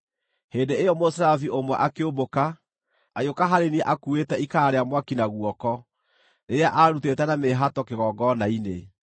Hĩndĩ ĩyo mũserafi ũmwe akĩũmbũka, agĩũka harĩ niĩ akuuĩte ikara rĩa mwaki na guoko, rĩrĩa aarutĩte na mĩĩhato kĩgongona-inĩ.